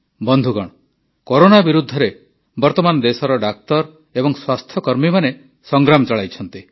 ବନ୍ଧୁଗଣ କରୋନା ବିରୁଦ୍ଧରେ ବର୍ତମାନ ଦେଶର ଡାକ୍ତର ଏବଂ ସ୍ୱାସ୍ଥ୍ୟକର୍ମୀମାନେ ସଂଗ୍ରାମ ଚଳାଇଛନ୍ତି